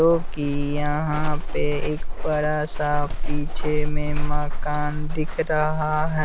जो कि यहाँ पे एक बड़ा सा पीछे में मकान दिख रहा हैं।